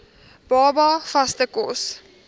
baba vaste kos